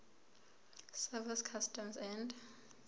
service customs and